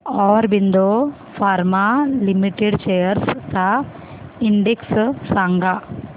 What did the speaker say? Aurobindo pharma limited shares चा index सांगा